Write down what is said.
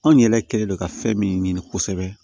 Anw yɛrɛ kɛlen don ka fɛn min ɲini kosɛbɛ